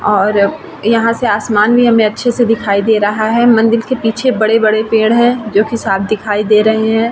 और यहाँ से आसमान भी हमें अच्छे से दिखाई दे रहा है मंदिर के पीछे बड़े-बड़े पेड़ है जो की साफ दिखाई दे रहे है ।